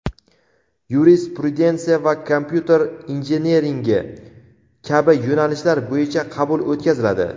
yurisprudensiya va kompyuter injiniringi kabi yo‘nalishlar bo‘yicha qabul o‘tkaziladi.